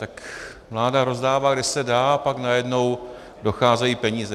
Tak vláda rozdává, kde se dá, a pak najednou docházejí peníze.